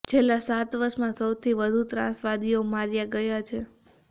છેલ્લા સાત વર્ષમાં સૌથી વધુ ત્રાસવાદીઓ માર્યા ગયા છે